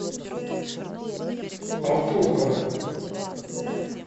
алтухова